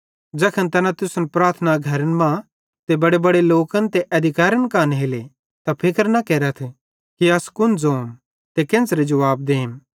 ज़ैखन तैना तुसन प्रार्थना घरन मां ते बड़ेबड़े ते अधिकैरन कां नेले त फिक्र न केरथ कि अस कुन ज़ोम ते केन्च़रे जुवाब देम